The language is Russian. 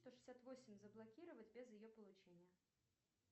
сто шестьдесят восемь заблокировать без ее получения